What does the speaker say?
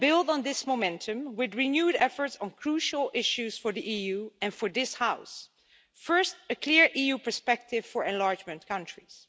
We must build on this momentum with renewed efforts on crucial issues for the EU and for this House first, a clear EU perspective for enlargement countries